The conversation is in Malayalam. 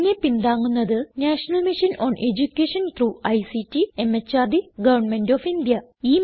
ഇതിനെ പിന്താങ്ങുന്നത് national mission on education through ICT MHRD government of India